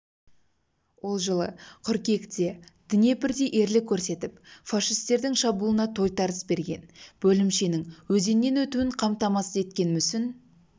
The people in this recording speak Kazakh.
ол жылы қыркүйекте днепрде ерлік көрсетіп фашистердің шабуылына тойтарыс берген бөлімшенің өзеннен өтуін қамтамасыз еткен мүсін